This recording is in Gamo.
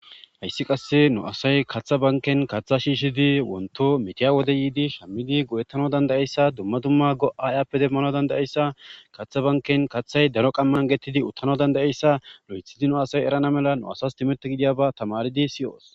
hayssi qasse nu asay katha banken katha shiishidi wonto metiya wode yiidi shammidi go7ettano dandayeyssa dumma dumma go7aayappe demmano dandayeyssa kaththa banken kaththay daro qammanan getidi uttana dandayeyssa lo7ethidi nu asay erana mela nu asas timete gidiyaba tamaridi siyoos